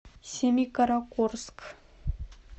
семикаракорск